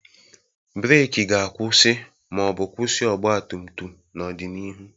Breeki ga-akwụsị ma ọ bụ kwụsị ọgba tum tum n'ọdịnihu.